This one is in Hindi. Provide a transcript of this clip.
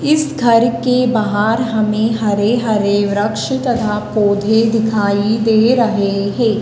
इस घर के बाहर हमें हरे-हरे वृक्ष तथा पौधे दिखाई दे रहे है।